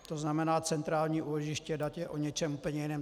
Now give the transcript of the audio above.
To znamená, centrální úložiště dat je o něčem úplně jiném.